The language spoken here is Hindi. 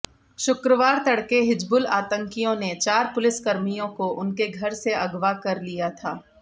शुक्रवार तड़के हिजबुल आतंकियों ने चार पुलिसकर्मियों को उनके घर से अगवा कर लिया था